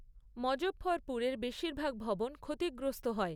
মজঃফরপুরের বেশিরভাগ ভবন ক্ষতিগ্রস্ত হয়।